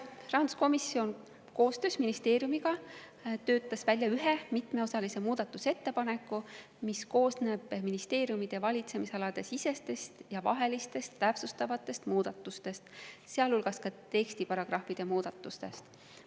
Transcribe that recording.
Rahanduskomisjon koostöös ministeeriumiga töötas välja ühe mitmeosalise muudatusettepaneku, mis koosneb ministeeriumide valitsemisalade sisestest ja vahelistest täpsustavatest muudatustest, sealhulgas tekstiparagrahvide muudatustest.